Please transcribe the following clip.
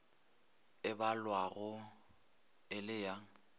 e balwago e le ya